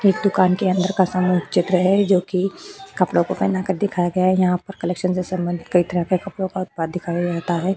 एक दुकान के अंदर का सामूहिक चित्र है जोकि कपड़ो को पहना कर दिखाया गया है। यहाँ पर कलेक्शन के सम्बंध कइ तरह के कपड़ो का उत्पाद दिखाया जाता है।